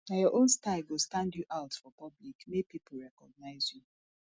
nah your own style go stand you out for public make pipo recognize you